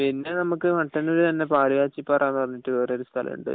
പിന്നെ നമക്ക് മട്ടന്നൂർ തന്നെ പാലുകാച്ചി പാറ എന്ന് വേറൊരു സ്ഥലമുണ്ട്